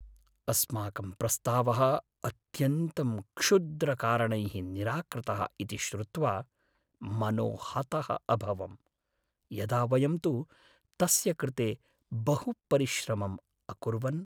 अस्माकं प्रस्तावः अत्यन्तं क्षुद्रकारणैः निराकृतः इति श्रुत्वा मनोहतः अभवं, यदा वयं तु तस्य कृते बहु परिश्रमम् अकुर्वन्।